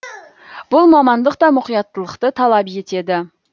бұл мамандық та мұқияттылықты талап етеді